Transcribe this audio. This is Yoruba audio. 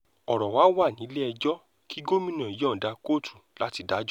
ọ̀rọ̀ wa wà nílẹ̀-ẹjọ́ kí gómìnà yọ̀ǹda kóòtù láti dájọ́